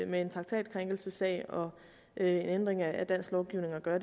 med en traktatkrænkelsessag og en ændring af dansk lovgivning at gøre